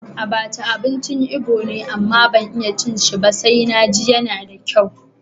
Abacha abincin Ibo ne, amma ban iya cin shi ba sai na ji yana da kyau.